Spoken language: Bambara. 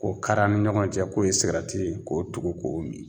O kar'a' ni ɲɔgɔn cɛ k'o ye sigarati ye k'o tugu k'o min